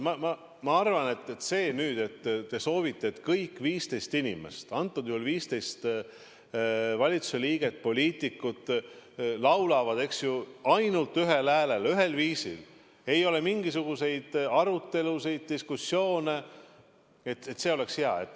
Ma ütlen ausalt, te soovite, et kõik 15 inimest, antud juhul 15 valitsuse liiget, poliitikut, laulaksid ainult ühel häälel, ühel viisil, ei oleks mingisuguseid arutelusid, diskussioone, ja et see oleks hea.